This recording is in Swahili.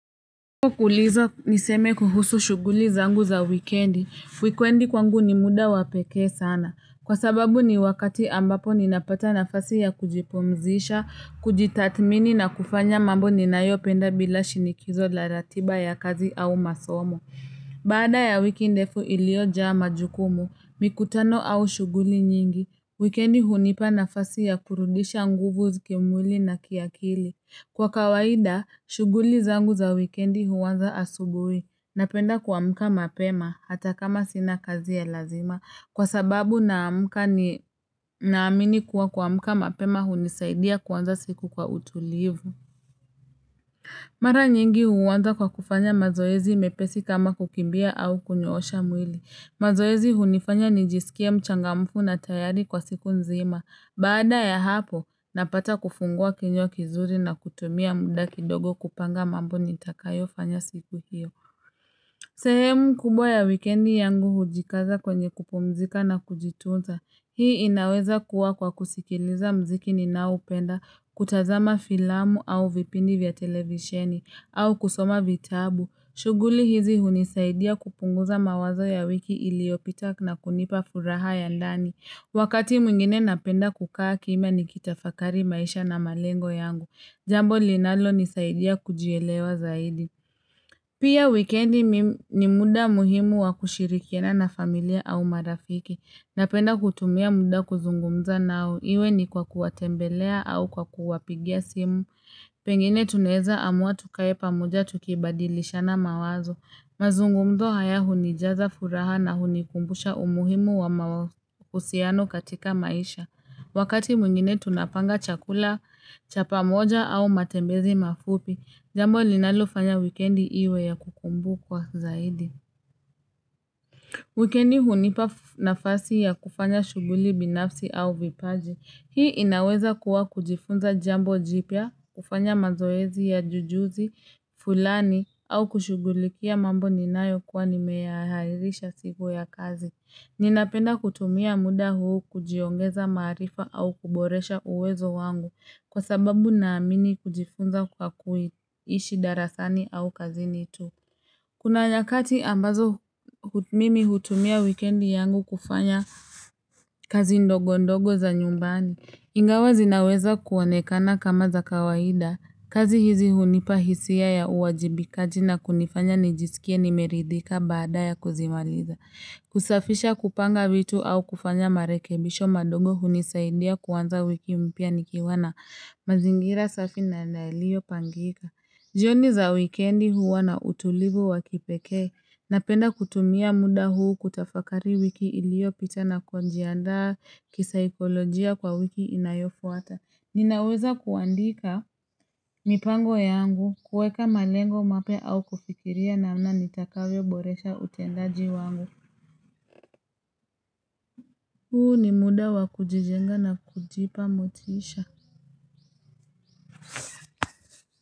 Kuuliza niseme kuhusu shughuli zangu za wikendi, wikendi kwangu ni muda wapekee sana. Kwa sababu ni wakati ambapo ninapata nafasi ya kujipumzisha, kujitathmini na kufanya mambo ninayopenda bila shinikizo la ratiba ya kazi au masomo. Baada ya wiki ndefu iliojaa majukumu, mikutano au shughuli nyingi, wikendi hunipa nafasi ya kurudisha nguvu zakimwili na kiakili. Kwa kawaida, shughuli zangu za wikendi huanza asubuhi. Napenda kuamka mapema hata kama sina kazi ya lazima. Kwa sababu naamini kuwa kuamka mapema hunisaidia kuanza siku kwa utulivu. Mara nyingi huuanza kwa kufanya mazoezi mepesi kama kukimbia au kunyoosha mwili. Mazoezi hunifanya nijisikie mchangamfu na tayari kwa siku nzima. Baada ya hapo, napata kifungua kinywa kizuri na kutumia muda kidogo kupanga mambo nitakayofanya siku hiyo. Sehemu kubwa ya wikendi yangu hujikaza kwenye kupumzika na kujitunza. Hii inaweza kuwa kwa kusikiliza muziki ninaoupenda, kutazama filamu au vipindi vya televisheni. Au kusoma vitabu. Shughuli hizi hunisaidia kupunguza mawazo ya wiki iliopita na kunipa furaha ya ndani. Wakati mwingine napenda kukaa kimya nikitafakari maisha na malengo yangu. Jambo linalonisaidia kujielewa zaidi. Pia wikendi ni muda muhimu wakushirikiana na familia au marafiki. Napenda kutumia muda kuzungumza nao. Iwe ni kwa kuwatembelea au kwa kuwapigia simu. Pengine tunaweza amua tukae pamoja tukibadilishana mawazo. Mazungumzo haya hunijaza furaha na hunikumbusha umuhimu wa mahusiano katika maisha. Wakati mwingine tunapanga chakula, cha pamoja au matembezi mafupi, jambo linalofanya wikendi iwe ya kukumbukwa zaidi. Wikendi hunipa nafasi ya kufanya shughuli binafsi au vipaji. Hii inaweza kuwa kujifunza jambo jipya, kufanya mazoezi ya ujuzi, fulani, au kushughulikia mambo ninayokuwa nimeyaarisha siku ya kazi. Ninapenda kutumia muda huu kujiongeza maarifa au kuboresha uwezo wangu kwa sababu naamini kujifunza kwa kuishi darasani au kazini tu. Kuna nyakati ambazo mimi hutumia wikendi yangu kufanya kazi ndogo ndogo za nyumbani. Ingawa zinaweza kuonekana kama za kawaida, kazi hizi hunipa hisia ya uwajibikaji na kunifanya nijisikie nimeridhika baada ya kuzimaliza. Kusafisha kupanga vitu au kufanya marekebisho madogo hunisaidia kuanza wiki mpya nikiwa na mazingira safi na yaliopangika. Jioni za wikendi huwa na utulivu wa kipekee, napenda kutumia muda huu kutafakari wiki iliopita na kujiandaa kisaikolojia kwa wiki inayofuata. Ninaweza kuandika mipango yangu kuweka malengo mapya au kufikiria namna nitakavyo boresha utendaji wangu. Huu ni muda wa kujijenga na kujipa motisha.